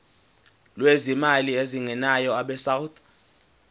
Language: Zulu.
lwezimali ezingenayo abesouth